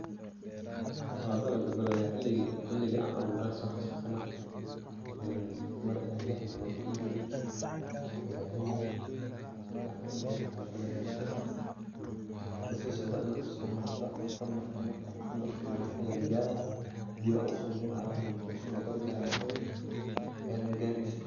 waa dalaga xiligii an abuure ayan soo xaasuusana mar een mar ee llix bilod ul igujirte an ilaalinaye si fican ay uso baxde dalaga basasha, basasha waa inad u samarto, samarka markad usamarto mba wexed lagaara, hadiba ad usamrin ad dhahdo kadibi wan orda harakaba mel magareysid